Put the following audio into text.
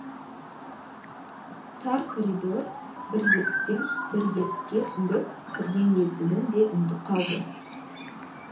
тар коридор бір есіктен бір есікке сүңгіп кірген есігін де ұмытып қалды